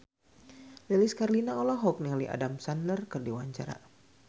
Lilis Karlina olohok ningali Adam Sandler keur diwawancara